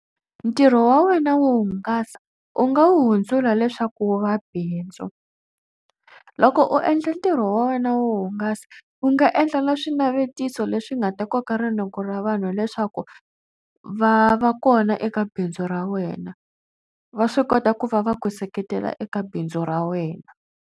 Ntirho wa wena wo hungasa u nga wu hundzula leswaku wu va bindzu. Loko u endla ntirho wa wena wo hungasa u nga endle na swinavetiso leswi nga ta koka rinoko ra vanhu leswaku va va kona eka bindzu ra wena. Va swi kota ku va va ku seketela eka bindzu ra wena.